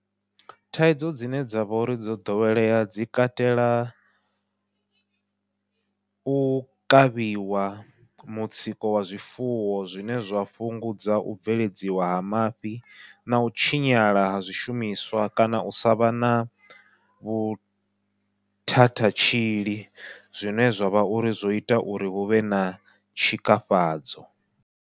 Thaidzo dzine dzavha uri dzo ḓowelea dzi katela, u kavhiwa mutsiko wa zwifuwo zwine zwa fhungudza u bveledziwa ha mafhi nau tshinyala ha zwishumiswa kana u savha na vhuthathatshili zwine zwavha uri zwo ita uri huvhe na tshikafhadzo.